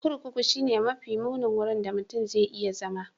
Kurkuku shine mafi munin wurin da mutum zai iya zama.